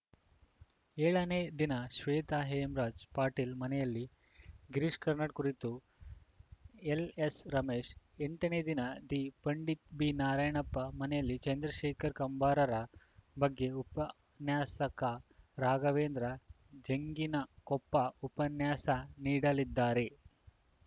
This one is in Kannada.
ಏಳನೆ ದಿನ ಶ್ವೇತಾ ಹೇಮರಾಜ್‌ ಪಾಟೀಲ್‌ ಮನೆಯಲ್ಲಿ ಗಿರೀಶ್‌ ಕಾರ್ನಾಡ್‌ ಕುರಿತು ಎಲ್‌ಎಸ್‌ರಮೇಶ್‌ ಎಂಟನೆಯ ದಿನ ದಿಪಂಡಿತ್‌ ಬಿನಾರಾಯಣಪ್ಪ ಮನೆಯಲ್ಲಿ ಚಂದ್ರಶೇಖರ್ ಕಂಬಾರರ ಬಗ್ಗೆ ಉಪನ್ಯಾಸಕ ರಾಘವೇಂದ್ರ ಜಂಗಿನಕೊಪ್ಪ ಉಪನ್ಯಾಸ ನೀಡಲಿದ್ದಾರೆ